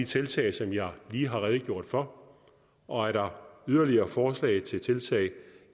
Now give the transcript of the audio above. tiltag som jeg lige har redegjort for og er der yderligere forslag til tiltag